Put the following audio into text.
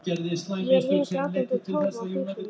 Ég er hin grátandi tófa á hlaupunum.